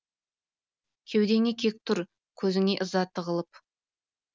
кеудеңде кек тұр көзіңе ыза тығылып